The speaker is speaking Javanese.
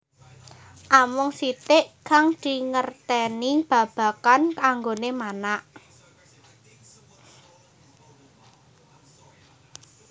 Amung sitik kang dingertèni babagan anggoné manak